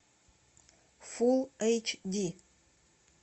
фулл эйч ди